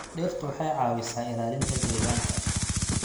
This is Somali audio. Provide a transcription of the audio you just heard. Dhirtu waxay caawisaa ilaalinta deegaanka.